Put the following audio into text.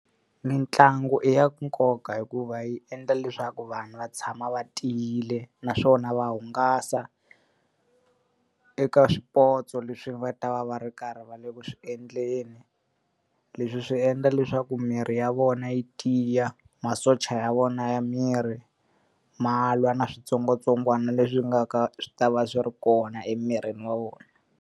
Mintlangu i ya nkoka hikuva yi endla leswaku vanhu va tshama va tiyile naswona va hungasa eka swipotso leswi va ta va va ri karhi va le ku swi endleni. Leswi swi endla leswaku miri ya vona yi tiya, masocha ya vona ya miri ma lwa na switsongwatsongwana leswi nga ka swi ta va swi ri kona emirini wa vona.